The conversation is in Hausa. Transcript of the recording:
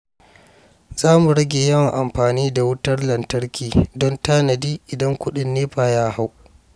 Za mu rage yawan amfani da wutar lantarki don tanadi idan kudin NEPA ya hau.